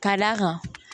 Ka d'a kan